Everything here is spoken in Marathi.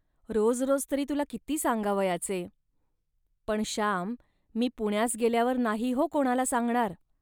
रोज रोज तरी तुला किती सांगावयाचे. पण श्याम, मी पुण्यास गेल्यावर नाही हो कोणाला सांगणार